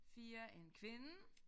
4 en kvinde